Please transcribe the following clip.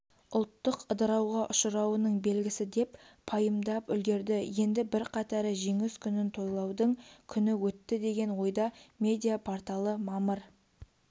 ұлттық ыдырауға ұшырауының белгісі деп пайымдапүлгерді енді бірқатары жеңіс күнінтойлаудыңкүні өтті деген ойда медиа-порталы мамыр